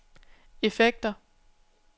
effekter